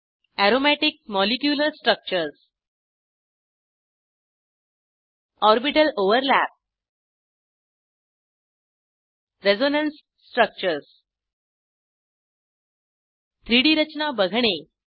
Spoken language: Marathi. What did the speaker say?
aromatic molecular structures orbital overlap resonance structures 3Dरचना बघणे